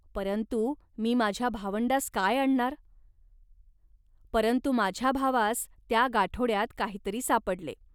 परंतु मी माझ्या भावंडास काय आणणार. परंतु माझ्या भावास त्या गाठोड्यात काहीतरी सापडले